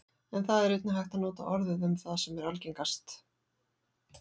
en það er einnig hægt að nota orðið um það sem er algengast